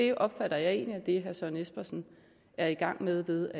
jeg opfatter egentlig herre søren espersen er i gang med ved